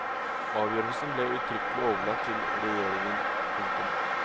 Avgjørelsen ble uttrykkelig overlatt til regjeringen. punktum